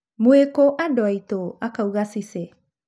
Mũi-kĩ andũ aitũ," akauga Cice.